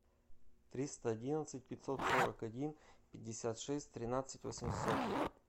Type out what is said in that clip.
триста одиннадцать пятьсот сорок один пятьдесят шесть тринадцать восемьсот